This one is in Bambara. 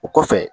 O kɔfɛ